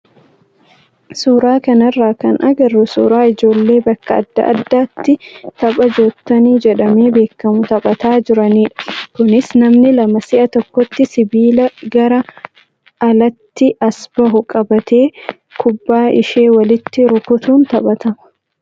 Suuraa kanarraa kan agarru suuraa ijoollee bakka adda addaatti tapha joottoonii jedhamee beekamu taphataa jiranidha. Kunis namni lama si'a tokkotti sibiila gara alaatti as bahu qabatee kubbaa ishee walitti rukutuun taphatama.